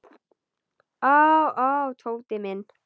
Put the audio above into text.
Ó, ó, Tóti minn.